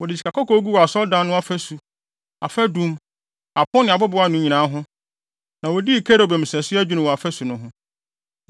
Wɔde sikakɔkɔɔ guu Asɔredan no afasu, afadum, apon ne abobow ano nyinaa ho, na wodii kerubim sɛso adwinni wɔ afasu no ho.